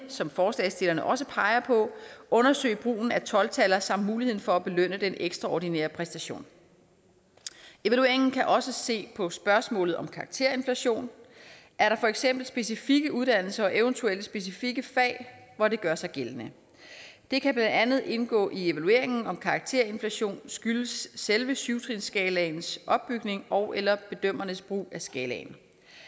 som forslagsstillerne også peger på undersøge brugen af tolv taller samt muligheden for at belønne den ekstraordinære præstation evalueringen kan også se på spørgsmålet om karakterinflation er der for eksempel specifikke uddannelser og eventuelt specifikke fag hvor det gør sig gældende det kan blandt andet indgå i evalueringen om karakterinflation skyldes selve syv trinsskalaens opbygning ogeller bedømmernes brug af skalaen